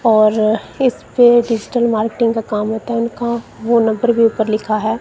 और इस पे डिजिटल मार्केटिंग का काम होता है उनका फोन नंबर भी ऊपर लिखा है।